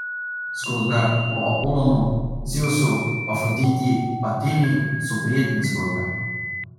Zgodbe o Apolonu, Zevsu, Afroditi, Ateni so prijetne zgodbe.